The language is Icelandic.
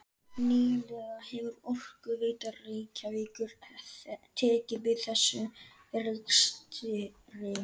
Nýlega hefur Orkuveita Reykjavíkur tekið við þessum rekstri.